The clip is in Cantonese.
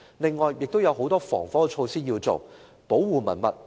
此外，亦須採取很多防火措施，以保護文物。